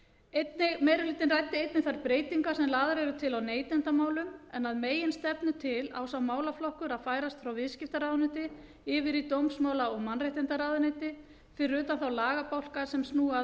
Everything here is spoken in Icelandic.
meiri hlutinn ræddi einnig þær breytingar sem lagðar eru til á neytendamálum en að meginstefnu til á sá málaflokkur að færast frá viðskiptaráðuneyti yfir í dómsmála og mannréttindaráðuneyti fyrir utan þá lagabálka sem snúa að